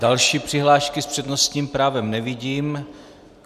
Další přihlášky s přednostním právem nevidím.